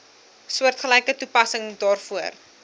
soortgelyke toepassing daarvoor